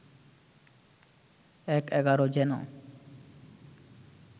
এক এগারো যেন